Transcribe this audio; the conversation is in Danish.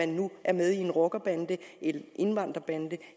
nu er med i en rockerbande en indvandrerbande